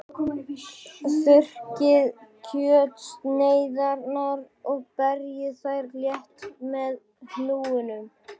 Þurrkið kjötsneiðarnar og berjið þær létt með hnúunum.